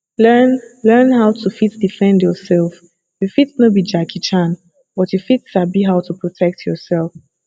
learn learn how to fit defend yourself you fit no be jackie chan but you fit sabi how to protect yourself